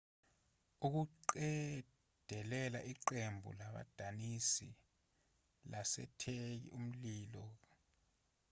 ukuqedela iqembu labadansi lasetheki umlilo ka-anatolia lenza umboniso we- troy